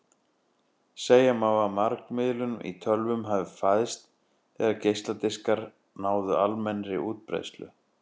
Segja má að margmiðlun í tölvum hafi fæðst þegar geisladiskar náðu almennri útbreiðslu.